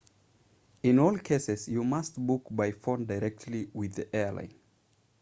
in all cases you must book by phone directly with the airline